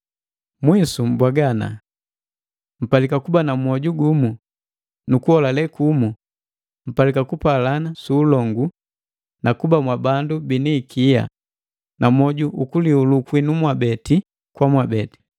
Mwisu mbwaga ana: Mpalika kuba na mwoju gumu, nukuholale kumu; mpalika kupalana su ulongu na kuba mwabandu bini ikia na moju ukulihulu kwinu mwabe kwa mwabe.